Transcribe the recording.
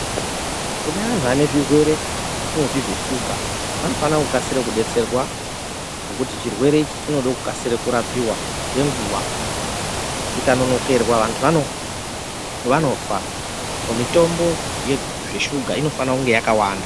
Kune vanhu vane zvirwere zvatinotinzveshuga vanofana kukasire kudetserwa nekuti chirwere ichi chinode kukasire kurapiwa nenguwa chikanonokerwa vantu vanofa , mitombo yezveshuga inofanire kunge yakawanda.